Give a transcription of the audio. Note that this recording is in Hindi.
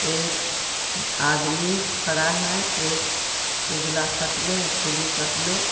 एक आदमी खड़ा है एक उजाला शर्ट में एक कल्लू शर्ट में.